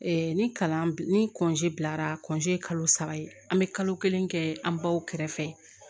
ni kalan ni bilara ye kalo saba ye an bɛ kalo kelen kɛ an baw kɛrɛfɛ